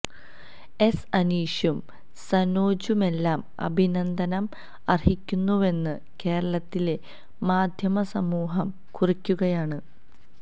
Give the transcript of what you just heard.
S അനീഷും സനോജുമെല്ലാം അഭിനന്ദനം അർഹിക്കുന്നുവെന്ന് കേരളത്തിലെ മാദ്ധ്യമ സമൂഹം കുറിക്കുകയാണ്